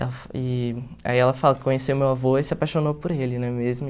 E aí ela fala que conheceu o meu avô e se apaixonou por ele, não é mesmo?